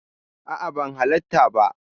A'a, ban halatta ba.